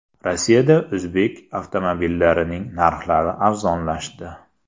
Rossiyada o‘zbek avtomobillarining narxlari arzonlashdi.